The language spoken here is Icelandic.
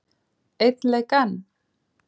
Einn leik enn?